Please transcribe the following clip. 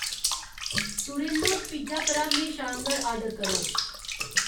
टूरिल्लोज pizza परा म्हेशा आह्ङर आर्डर करो